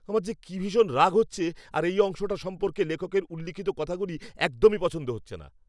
আমার যে কি ভীষণ রাগ হচ্ছে, আর এই অংশটা সম্পর্কে লেখকের উল্লিখিত কথাগুলি একদমই পছন্দ হচ্ছে না।